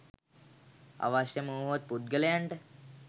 අවශ්‍යම වුවහොත් පුද්ගලයන්ට